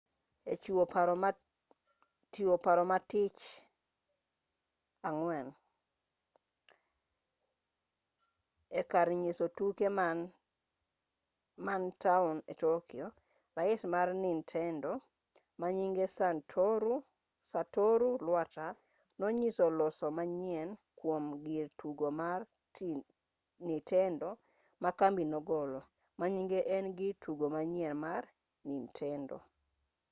e chiwo paro ma tich ang'wen ekar nyiso tuke man taond tokyo rais mar nintendo manyinge satoru iwata nonyiso loso manyien kuom gir tugo mar nintendo makambi nogolo manyinge en girtugo manyien mar nintendo